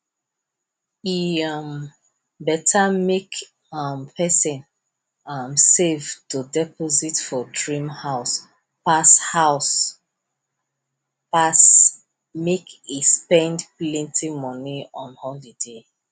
e um beta make um person um save to deposit for dream house pass house pass make e spend plenti money on holiday